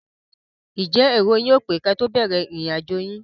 Ǹjẹ́ èrò yóò pé kí ẹ tó bẹ̀rẹ̀ ìrìn àjò yín?